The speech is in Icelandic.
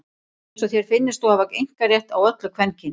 Það er eins og þér finnist þú hafa einkarétt á öllu kvenkyns.